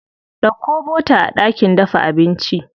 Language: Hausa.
Ɗauko bota a ɗakin dafa abinci.